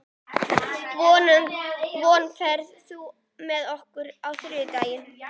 Von, ferð þú með okkur á þriðjudaginn?